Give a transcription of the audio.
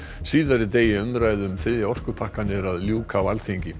síðari degi umræðu um þriðja orkupakkann er að ljúka á Alþingi